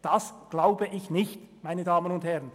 Das glaube ich nicht, meine Damen und Herren.